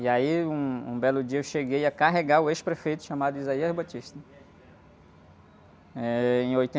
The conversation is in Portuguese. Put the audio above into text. E aí, um, um belo dia eu cheguei a carregar o ex-prefeito chamado... Eh, em